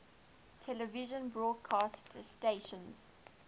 television broadcast stations